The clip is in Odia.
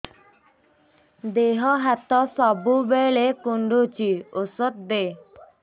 ଦିହ ହାତ ସବୁବେଳେ କୁଣ୍ଡୁଚି ଉଷ୍ଧ ଦେ